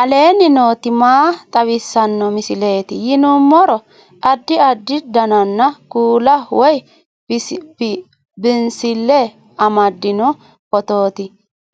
aleenni nooti maa xawisanno misileeti yinummoro addi addi dananna kuula woy biinsille amaddino footooti